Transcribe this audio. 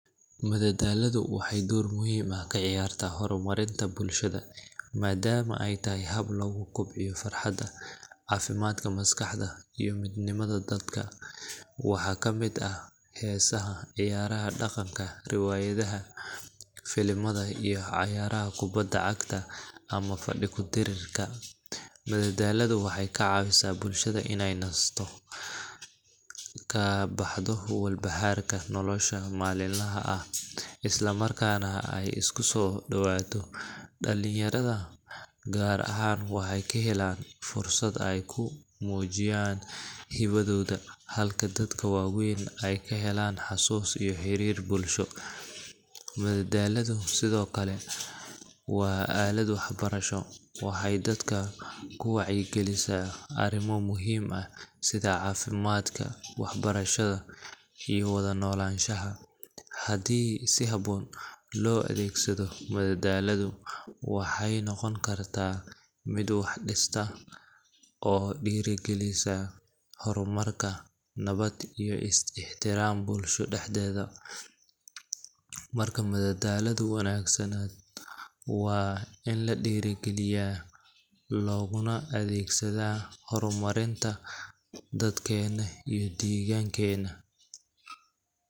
Madadaaladu waxay door muhiim ah ka ciyaartaa horumarinta bulshada, maadaama ay tahay hab lagu kobciyo farxadda, caafimaadka maskaxda, iyo midnimada dadka. Waxaa ka mid ah heesaha, ciyaaraha dhaqanka, riwaayadaha, filimada, iyo cayaaraha kubbadda cagta ama fadhi-ku-dirirka. Madadaaladu waxay ka caawisaa bulshada inay nasato, ka baxdo walbahaarka nolosha maalinlaha ah, isla markaana ay isku soo dhowaato. Dhallinyarada, gaar ahaan, waxay ka helaan fursad ay ku muujistaan hibadooda, halka dadka waaweyna ay ka helaan xasuus iyo xiriir bulsho. Madadaaladu sidoo kale waa aalad waxbarasho waxay dadka ku wacyigelisaa arrimo muhiim ah sida caafimaadka, waxbarashada, iyo wada noolaanshaha. Haddii si habboon loo adeegsado, madadaaladu waxay noqon kartaa mid wax dhistaa oo dhiirrigelisa horumar, nabad iyo is-ixtiraam bulshada dhexdeeda. Marka, madadaalo wanaagsan waa in la dhiirrigeliyaa, looguna adeegsadaa horumarinta dadkeena iyo deegaanadeena.